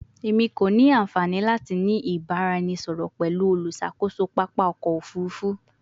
Emi ko ni anfani lati ni ibaraẹnisọrọ pẹlu oluṣakoso papa ọkọ ofurufu